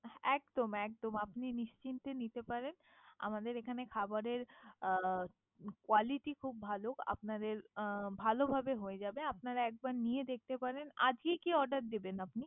একদম একদম, ্আপিন নিশ্চেন্তে নিতে পারেন। আমাদের এখানে খাবারে Quality খুব ভালো আপনাদের ভালো ভাবে হয়ে যাবে। আপনার একদম নিয়ে দেখতে পারেন। আজকে কি Order দিবেন।